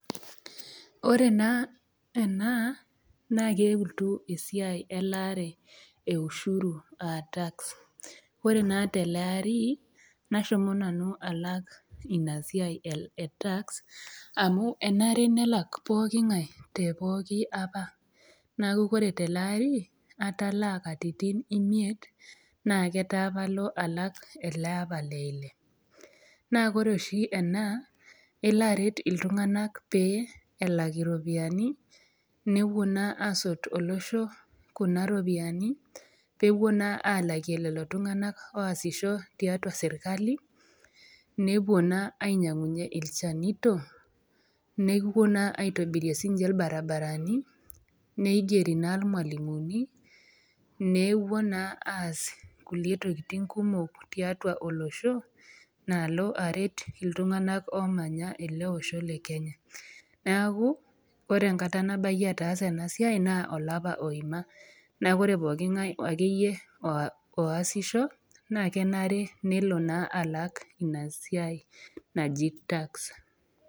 Ore naa ena naa keutu esiai elaata e ushuru aa tax. Ore naa te ele ari, nashomo nanu alak ina siai e tax amu enare nelak pooking'ai te pooki apa, neaku ore te ele ari, atalaa katitin imiet, naa ketaa palo alak ele apa le Ile. Naa ore oshi ena, elo aret iltung'ana pee elak iropiani nepuo naa asot olosho Kuna ropiani peepuo naa alakie lelo tung'ana oasisho tiatua serkali nepuo naa ainyang'unye ilchanito, nepuo naa sii ninye aitobirie ilbaribarani neigeri naa ilmwalimuni, newuoi naa aas kulie tokitin kumok tiatua olosho, naalo aret iltung'ana oomanya ele Osho le Kenya. Neaku ore enkata nabaiyie ataasa ena siai naa olapa oima, naa ore pookingai ake iyie oasisho, naa kenare nelo naa all Ina siai naji tax.